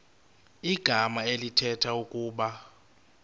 igama elithetha ukuba